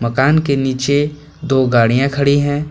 मकान के नीचे दो गाड़ियां खड़ी है।